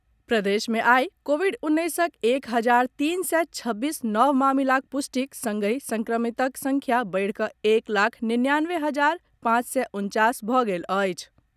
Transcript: प्रदेश मे आई कोविड उन्नैसक एक हजार तीन सय छब्बीस नव मामिलाक पुष्टिक संगहि संक्रमितक संख्या बढ़िकऽ एक लाख निन्यानवे हजार पांच सय उनचास भऽ गेल अछि।